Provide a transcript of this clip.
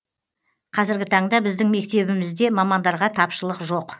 қазіргі таңда біздің мектебімізде мамандарға тапшылық жоқ